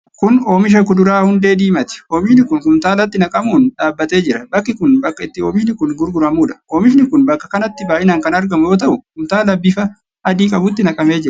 Kun oomisha kuduraa hundee diimaati. Oomishi kun kumtaalatti naqamuun dhaabatee jira. Bakki kun bakka itti oomishi kun gurguramuudha. Oomishi kun bakka kanatti baay'inaan kan argamu yoo ta'u, kumtaala bifa adii qabutti naqamee jira.